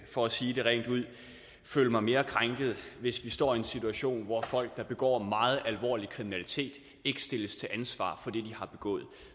for at sige det rent ud føle mig mere krænket hvis vi står i en situation hvor folk der begår meget alvorlig kriminalitet ikke stilles til ansvar for det de har begået